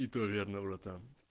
и то верно братан